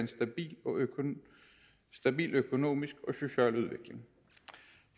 en stabil økonomisk og social udvikling